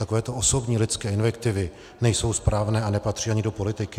Takovéto osobní lidské invektivy nejsou správné a nepatří ani do politiky.